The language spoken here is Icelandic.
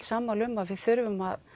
sammála um að við þurfum að